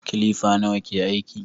Kilifa nawa ke aiki?